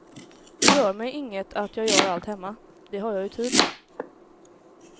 Det gör mig inget att jag gör allt hemma, det har jag ju tid med.